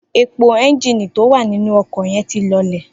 Epo é̩ńjìnì tó wà nínú o̩kò̩ ye̩n ti lo̩lè̩